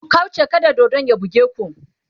ku kauche kada dodon ya buge ku!